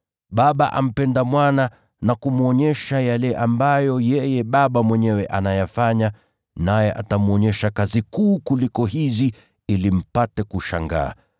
Baba ampenda Mwana na kumwonyesha yale ambayo yeye Baba mwenyewe anayafanya, naye atamwonyesha kazi kuu kuliko hizi ili mpate kushangaa.